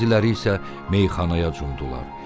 Bəziləri isə meyxanaya cumdular.